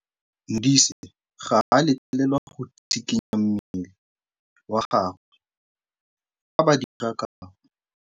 Modise ga a letlelelwa go tshikinya mmele wa gagwe fa ba dira karô.